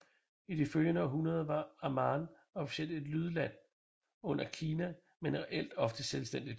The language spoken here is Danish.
I de følgende århundrede var Amman officielt et lydland under Kina men reelt ofte selvstændigt